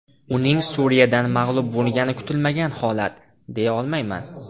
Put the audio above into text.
Uning Suriyadan mag‘lub bo‘lgani kutilmagan holat, deya olmayman.